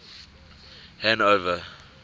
hanover